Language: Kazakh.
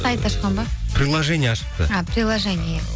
сайт ашқан ба приложение ашыпты а приложение иә